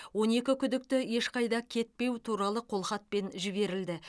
он екі күдікті ешқайда кетпеу туралы қолхатпен жіберілді